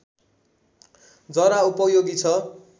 जरा उपयोगी छ